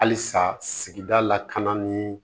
Halisa sigida lakana ni